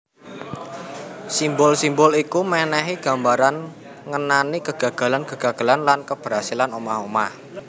Simbol simbol iku mènèhi gambaran ngenani kegagalan kegagalan lan keberhasilan omah omah